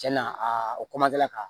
Cɛn na a ka